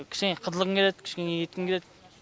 кішкене қыдырғың келеді кішкене неткін келет